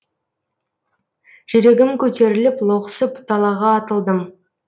жүрегім көтеріліп лоқсып далаға атылдым